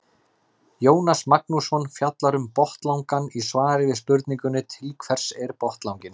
Jónas Magnússon fjallar um botnlangann í svari við spurningunni Til hvers er botnlanginn?